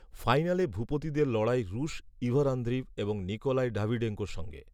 ফাইনালে ভূপতিদের লড়াই রুশ ইভর আন্দ্রিভ এবং নিকোলাই ডাভিডেঙ্কোর সঙ্গে